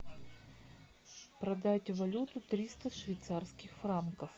продать валюту триста швейцарских франков